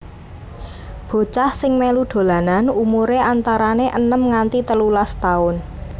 Bocah sing melu dolanan umure antarane enem nganti telulas taun